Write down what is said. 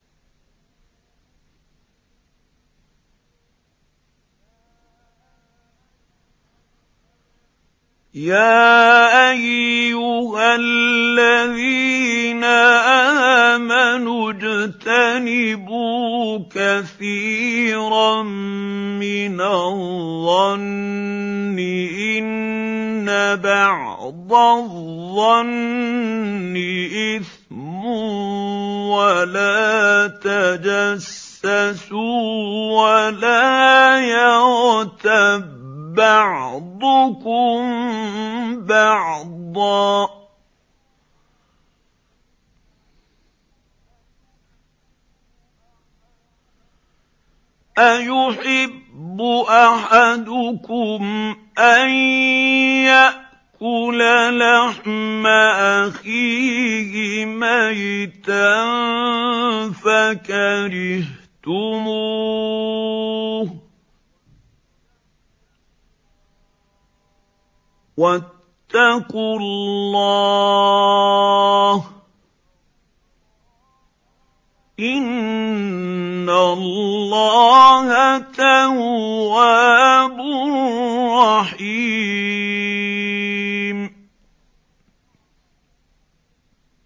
يَا أَيُّهَا الَّذِينَ آمَنُوا اجْتَنِبُوا كَثِيرًا مِّنَ الظَّنِّ إِنَّ بَعْضَ الظَّنِّ إِثْمٌ ۖ وَلَا تَجَسَّسُوا وَلَا يَغْتَب بَّعْضُكُم بَعْضًا ۚ أَيُحِبُّ أَحَدُكُمْ أَن يَأْكُلَ لَحْمَ أَخِيهِ مَيْتًا فَكَرِهْتُمُوهُ ۚ وَاتَّقُوا اللَّهَ ۚ إِنَّ اللَّهَ تَوَّابٌ رَّحِيمٌ